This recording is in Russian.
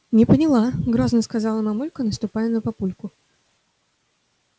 не поняла грозно сказала мамулька наступая на папульку